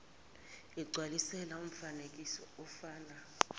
igcwalisele umfanekiso ofana